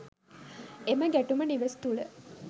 එම ගැටුම නිවෙස් තුළ